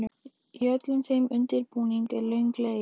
Í öllum þeim undirbúningi er löng leið.